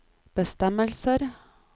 bestemmelser